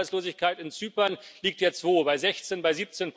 Die Jugendarbeitslosigkeit in Zypern liegt jetzt wo, bei 16, bei